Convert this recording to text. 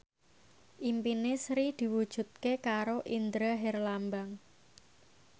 impine Sri diwujudke karo Indra Herlambang